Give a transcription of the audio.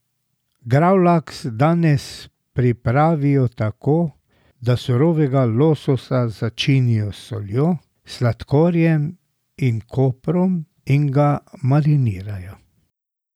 Gravlaks danes pripravijo tako, da surovega lososa začinijo s soljo, sladkorjem in koprom in ga marinirajo.